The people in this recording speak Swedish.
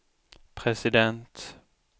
president